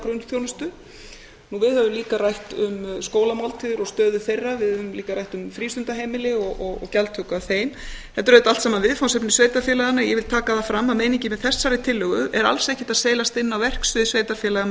grunnþjónustu við höfum líka rætt um skólamáltíðir og stöðu þeirra við höfum líka rætt um frístundaheimili og gjaldtöku af þeim þetta eru auðvitað allt sama viðfangsefni sveitarfélaganna ég vil taka það fram að meiningin með þessari tillögu er alls ekkert að seilast inn á verksvið sveitarfélaga með